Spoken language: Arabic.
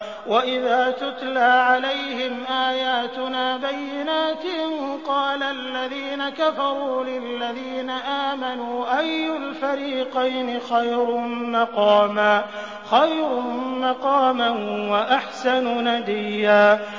وَإِذَا تُتْلَىٰ عَلَيْهِمْ آيَاتُنَا بَيِّنَاتٍ قَالَ الَّذِينَ كَفَرُوا لِلَّذِينَ آمَنُوا أَيُّ الْفَرِيقَيْنِ خَيْرٌ مَّقَامًا وَأَحْسَنُ نَدِيًّا